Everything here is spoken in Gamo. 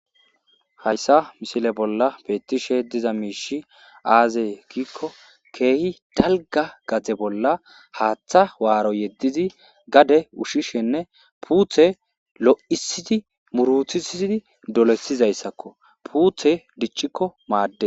hayssa misile bolla beettishe diza miishi aazee giikko keehi dalga gatze bolla haaththa waaro yeddizi gade ushshishenne puuthe lo7isidi muruthisidi dolesizayssakko puuthe dichchikko maadde